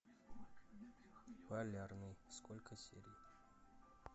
полярный сколько серий